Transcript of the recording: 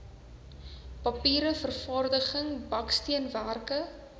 papier vervaardiging baksteenwerke